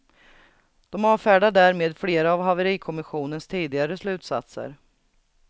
De avfärdar därmed flera av haverikommissionens tidigare slutsatser.